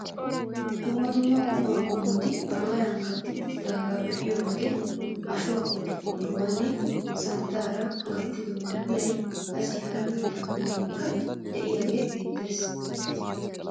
Dumma dumma qumaa qommoti maarara ka'i uttidaageta be'iyoo wode ashshuwaa qoociqoccuwaa, santtaara gattido pilay, qassi hara kattaa qomoyikka de'iyaage beettees.